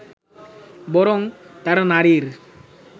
বরং তারা নারীর